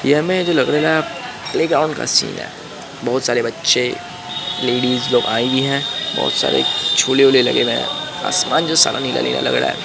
ये हमें जो लगरेला है प्लेग्राउंड का सीन है बहुत सारे बच्चे लेडीज लोग आई हुई हैं बहुत सारे झूले-उले लगे हुए हैं आसमान जो सारा नीला-नीला लग रहा हैं।